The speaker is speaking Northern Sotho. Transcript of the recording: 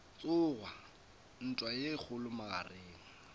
tsoga ntwa ye kgolo magareng